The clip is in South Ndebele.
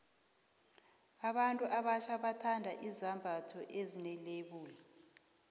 abantu abatjha bathanda izembatho ezine lebula